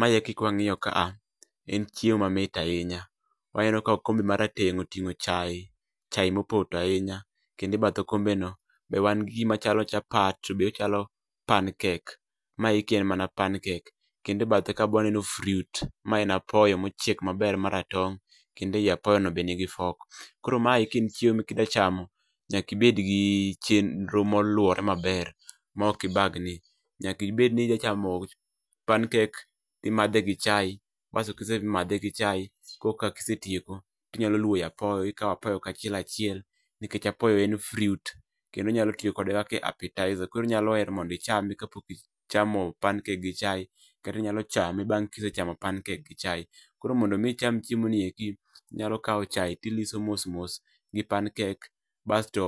Maeki kwa ngio ka a,en chiemo ma mit ahinya ka okombe ma rateng' otingo chae mopoto ahinya kendo e bath okombeno ni gi gima chalo chapat to be ochalo pan kek ma eki en mana pan kendo e bathe kae be aneno fruit en apoyo mochiek maber ma ratong' kendo ei apoyo no be nigi fork koro maeki en chiemo ma kidwa chamo ,nyaki bed gi chenro moluore maber ma oki bagni, chaki bed ni nya chamo pan kek imadhe gi chai kasto kisemadhe gi chai koka kise tieko tinyalo lwowe apoyo ikao apoyo kachiel achiel nikech apoyo en fruit kendo inyalo tiyo kode kaka appetizer koro inyalo hero mondo ichame kapok ichamo pan kek gi chae kata inyalo chame bang' kisechamo pan kek gi chae, koro mondo mi icham chiemo ni eki inyalo chae tiliso mos mos gi pan kek basto